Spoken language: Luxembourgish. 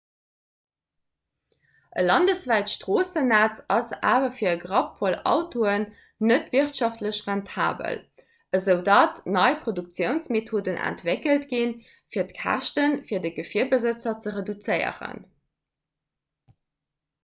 e landeswäit stroossennetz ass awer fir e grappvoll autoen net wirtschaftlech rentabel esoudatt nei produktiounsmethoden entwéckelt ginn fir d'käschte fir de gefierbesëtzer ze reduzéieren